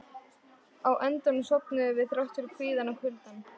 Á endanum sofnuðum við, þrátt fyrir kvíðann og kuldann.